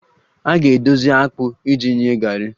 A ga-edozi akpụ iji nye garri